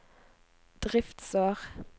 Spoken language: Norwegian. driftsår